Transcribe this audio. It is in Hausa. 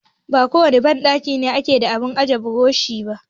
Ba kowane banɗaki ne yake da abun ajiye burushi ba.